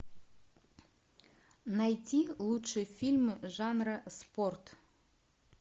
найти лучшие фильмы жанра спорт